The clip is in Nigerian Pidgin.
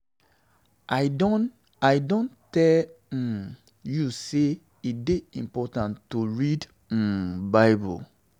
I don I don tell um you say e dey important to read um Bible.